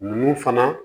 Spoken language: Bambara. Nunnu fana